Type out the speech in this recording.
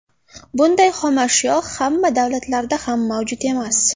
Bunday xomashyo hamma davlatlarda ham mavjud emas.